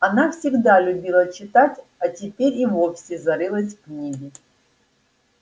она всегда любила читать а теперь и вовсе зарылась в книги